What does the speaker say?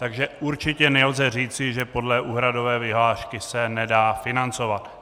Takže určitě nelze říci, že podle úhradové vyhlášky se nedá financovat.